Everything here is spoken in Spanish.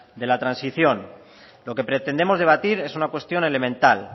de la transición lo que pretendemos debatir es una cuestión elemental